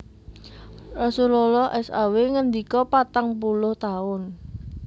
Rasulullah saw ngendika Patang puluh taun